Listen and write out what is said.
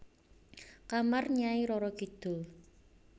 Kamar Nyai Roro Kidul